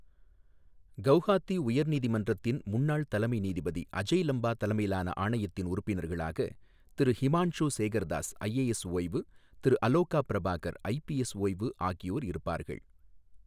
கவுகாத்தி உயர் நீதிமன்றத்தின் முன்னாள் தலைமை நீதிபதி அஜய் லம்பா தலைமையிலான ஆணையத்தின் உறுப்பினர்களாக திரு ஹிமான்ஷு சேகர் தாஸ், ஐஏஎஸ் ஓய்வு, திரு அலோகா பிரபாகர், ஐபிஎஸ் ஓய்வு ஆகியோர் இருப்பார்கள்